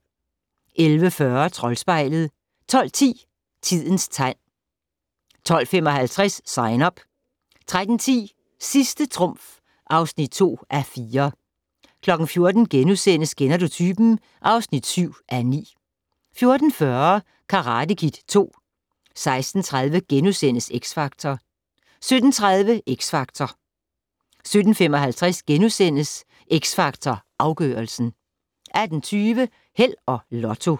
11:40: Troldspejlet 12:10: Tidens tegn 12:55: Sign Up 13:10: Sidste trumf (2:4) 14:00: Kender du typen? (7:9)* 14:40: Karate Kid II 16:30: X Factor * 17:30: Xtra Factor 17:55: X Factor Afgørelsen * 18:20: Held og Lotto